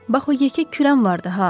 Bax o yekə kürən vardı ha.